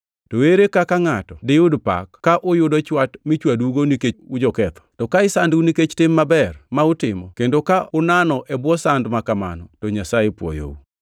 To ere kaka ngʼato diyud pak ka uyudo chwat michwadougo nikech ujoketho? To ka isandou nikech tim maber ma utimo, kendo ka unano e bwo sand ma kamano, to Nyasaye pwoyou.